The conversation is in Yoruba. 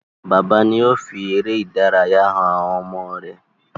Bàbá ni ó fi eré ìdárayá han àwọn ọmọ rẹ̀.